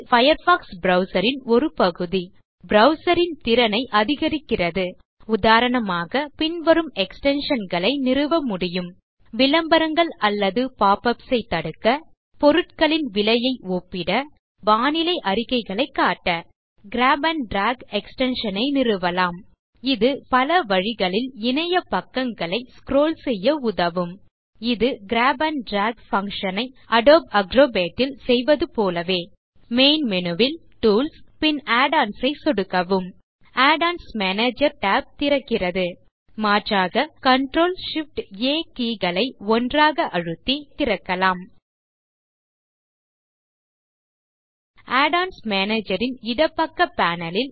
Firefox browser ன் ஒரு பகுதி மேலும் ப்ரவ்சர் ன் திறனை அதிகரிக்கிறது உதாரணமாக பின்வரும் எக்ஸ்டென்ஷன் களை நிறுவ முடியும் விளம்பரங்கள் அல்லது பாப்பப்ஸ் ஐ தடுக்க பொருட்களின் விலையை ஒப்பிட மற்றும் வானிலை அறிக்கைகளைக் காட்ட கிராப் ஆண்ட் டிராக் எக்ஸ்டென்ஷன் ஐ நிறுவலாம் கிராப் ஆண்ட் டிராக் பல வழிகளில் இணைய பக்கங்களை ஸ்க்ரோல் செய்ய உதவும் இது கிராப் ஆண்ட் டிராக் பங்ஷன் ஐ அடோப் Acrobatல் செய்வது போலவே மேனு பார் ல் டூல்ஸ் பின் add ஒன்ஸ் ஐ சொடுக்கவும் add ஒன்ஸ் மேனேஜர் tab திறக்கிறது மாற்றாக CTRLShiftA keyகளை ஒன்றாக அழுத்தி add ஒன்ஸ் மேனேஜர் ஐ திறக்கலாம் add ஒன்ஸ் மேனேஜர் ன் இடப்பக்க பேனல் ல்